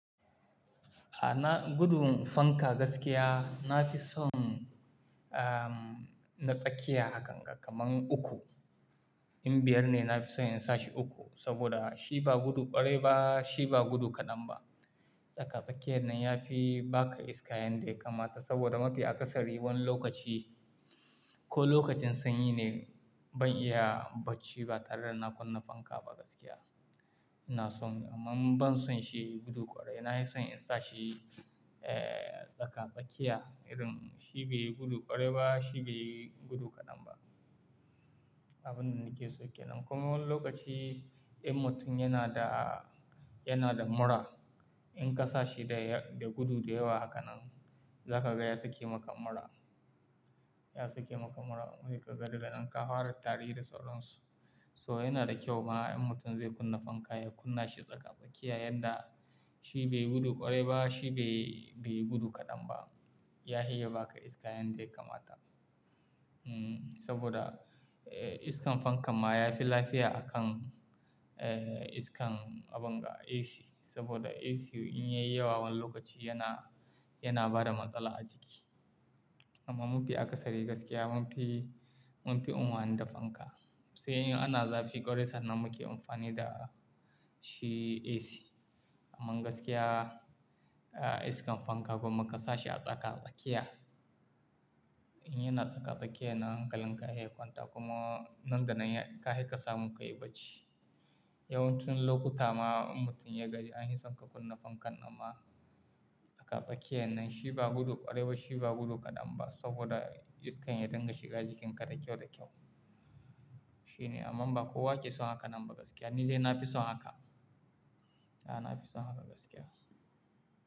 A na gudu fanka gaskiya na fi son, um, na tsakiya hakan ga, kaman uku. In biyar ne na fi son in sa shi uku saboda shi ba gudu ƙwarai ba, shi ba gudu kaɗan ba. Tsaka-tsakiyar nan ya fi ba ka iska yanda ya kamata saboda mafi akasari wani lokaci ko lokacin sanyi ne ban iya bacci ba tare da na kunna fanka ba gaskiya. Ina son, amma ban son shi yayi gudu ƙwarai. Na yi son in sa shi, eh, tsaka-tsakiya irin shi bai yi gudu ƙwarai ba, shi bai yi gudu kaɗan ba. Abunda nake son ke nan. Kuma wani lokaci in mutum yana da, yana da mura, in ka sa shi da, da gudu da yawa hakan nan, za ka ga ya sake maka mura. Ya sake maka mura. Wai ka ga daganan ka fara tari da sauran su. So yana da kyau ma in mutum zai kunna fanka ya kunna shi tsaka-tsakiya yanda shi bai yi gudu ƙwarai ba, shi bai, bai yi gudu kaɗan ba. Ya hi ba ka iska yanda ya kamata. Hmm, saboda, eh, iskan fankan ma ya fi lafiya akan, eh, iskan abin ga AC saboda AC in yayi yawa wani lokaci yana, yana bada matsala a jiki. Amma mafi akasari gaskiya mun fi, mun fi unuha ni da fanka. Sai in ana zafi ƙwarai sannan muke amfani da shi AC. Amma gaskiya, eh, iskan fanka gwamma ka sa shi a tsaka-tsakiya, in yana tsaka-tsakiya na hankalin ka yake kwanta kuma nan da nan ya, kahi kasamu kayi bacci. Yawancin lokuta ma in mutum ya gaji an yi son ka kunna fankan amma tsaka-tsakiyar nan shi ba gudu ƙwarai ba, shi ba gudu kaɗan ba saboda iskan ya dinga shiga jikin ka da kyau da kyau. Shi ne, amma ba kowa ke son hakan nan ba gaskiya. Ni dai na fi son haka. A na fi son haka gaskiya.